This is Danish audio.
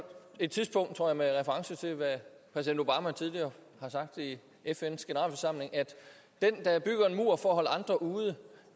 et tidspunkt jeg tror med reference til hvad præsident obama tidligere har sagt i fns generalforsamling at den der bygger en mur for at holde andre ude